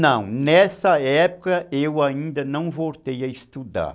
Não, nessa época eu ainda não voltei a estudar.